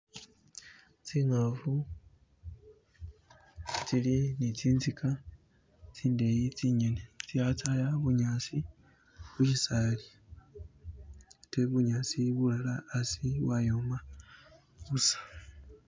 Tsingafu tsili ni tsinziga tsindeyi tsinyene tsili tsaya bunyasi mushisaali atee bunyasi bulala hasi bwayoma busa.